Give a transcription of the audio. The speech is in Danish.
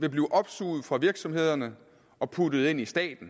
vil blive opsuget fra virksomhederne og puttet ind i staten